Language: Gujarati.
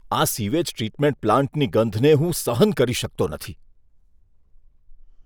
આ સીવેજ ટ્રીટમેન્ટ પ્લાન્ટની ગંધને હું સહન કરી શકતો નથી.